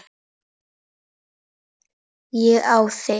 Ég á þig.